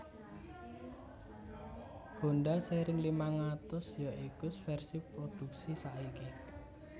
Honda seri limang atus ya iku vèrsi prodhuksi saiki